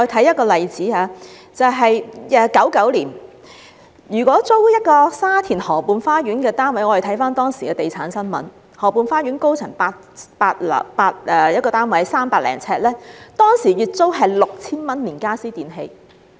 1999年，租住沙田河畔花園的一個單位......我們看看當時的地產新聞，河畔花園高層一個300多呎的單位，當時月租 6,000 元，連傢俬電器。